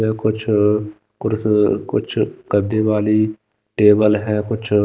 ये कुछ कुरस कुछ गददे वाली टेबल है कुछ --